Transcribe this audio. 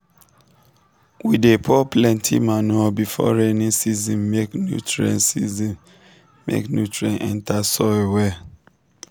we dey pour plenty manure before rainy season make nutrient season make nutrient enter soil well.